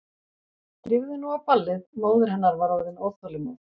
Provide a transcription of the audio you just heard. Drífðu þig nú á ballið, móðir hennar var orðin óþolinmóð.